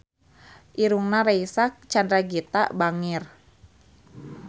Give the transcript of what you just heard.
Irungna Reysa Chandragitta bangir